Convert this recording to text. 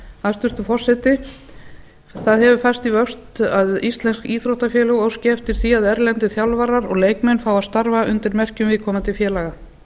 hæstvirtur forseti það hefur færst í vöxt að íslensk íþróttafélög óski eftir því að erlendir þjálfarar og leikmenn fái að starfa undir merkjum viðkomandi félaga